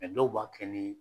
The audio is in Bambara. dɔw b'a kɛ ni